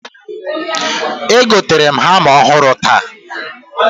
Egoterem hama ọhụrụ taata